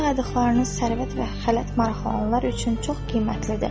Bu saydıqlarınız sərvət və xələt maraqlananlar üçün çox qiymətlidir.